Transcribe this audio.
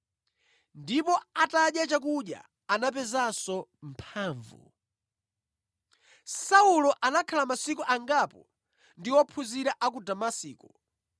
ndipo atadya chakudya, anapezanso mphamvu. Saulo Alalikira ku Damasiko Saulo anakhala masiku angapo ndi ophunzira a ku Damasiko.